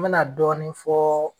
N bɛna dɔɔnin fɔɔ